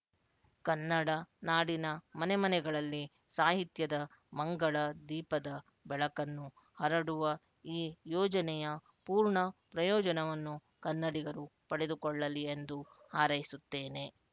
ಕನ್ನಡ ನಾಡಿನ ಮನೆಮನೆಗಳಲ್ಲಿ ಸಾಹಿತ್ಯದ ಮಂಗಳ ದೀಪದ ಬೆಳಕನ್ನು ಹರಡುವ ಈ ಯೋಜನೆಯ ಪೂರ್ಣಪ್ರಯೋಜನವನ್ನು ಕನ್ನಡಿಗರು ಪಡೆದುಕೊಳ್ಳಲಿ ಎಂದು ಹಾರೈಸುತ್ತೇನೆ